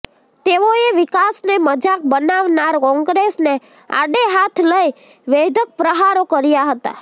તેઓએ વિકાસને મજાક બનાવનાર કોંગ્રેસને આડે હાથ લઇ વેધક પ્રહારો કર્યા હતા